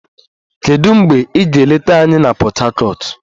Kedu mgbe ị ga-eleta anyị na Port Harcourt?